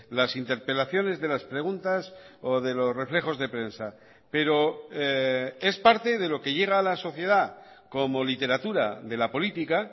las interpelaciones de las preguntas o de los reflejos de prensa pero es parte de lo que llega a la sociedad como literatura de la política